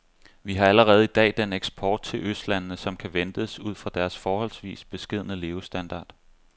Vi har allerede i dag den eksport til østlandene, som kan ventes ud fra deres forholdsvis beskedne levestandard.